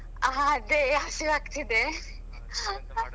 ಹಾ ಅದೇ ಹಸಿವಾಗ್ತಿದೆ.